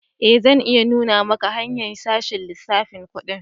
Eh, zan iya nuna maka hanya'n sashen lissafin kudi.